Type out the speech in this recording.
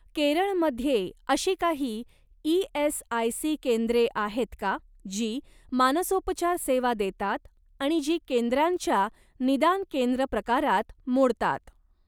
केरळ मध्ये अशी काही ई.एस.आय.सी केंद्रे आहेत का जी मानसोपचार सेवा देतात आणि जी केंद्रांच्या निदान केंद्र प्रकारात मोडतात?